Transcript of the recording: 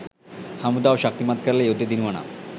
හමුදාව ශක්තිමත් කරලා යුද්දෙ දිනුවා නම්